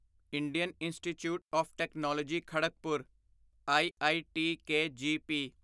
Indian institute of technology Kharagpur IIT KGP